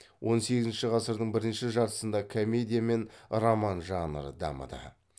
он сегізінші ғасырдың бірінші жартысында комедия мен роман жанры дамыды